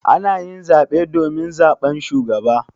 Ana yin zaɓe domin zaɓan shugaba.